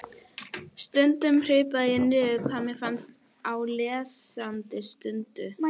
Stundum hripaði ég niður hvað mér fannst á lesandi stundu.